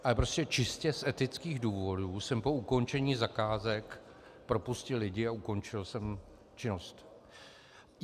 Ale prostě čistě z etických důvodů jsem po ukončení zakázek propustil lidi a ukončil jsem činnost.